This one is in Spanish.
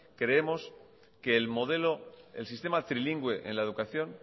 creemos que el modelo el sistema trilingüe en la educación